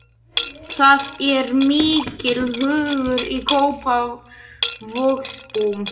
Það er mikill hugur í Kópavogsbúum.